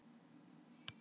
Aðeins Asía er stærri.